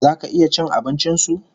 Zaka iya cin abincin su$